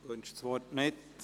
– Er wünscht das Wort nicht.